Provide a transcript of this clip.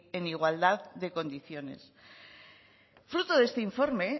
en igualdad de condiciones fruto de este informe